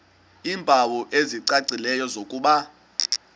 iimpawu ezicacileyo zokuba